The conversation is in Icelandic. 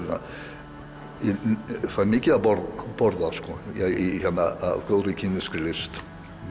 fæ mikið að borða borða af góðri kínverskri list